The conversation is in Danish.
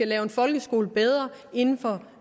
lave en folkeskole bedre inden for